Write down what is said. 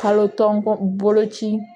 Kalo tɔn boloci